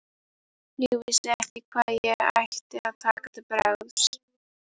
Ég vissi ekki hvað ég ætti að taka til bragðs.